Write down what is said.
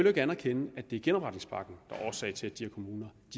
ikke anerkende at det er genopretningspakken der er årsag til at de her kommuner